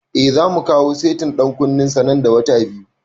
Eh, zamu kawo setin ɗan kunnen sa nan da wata biyu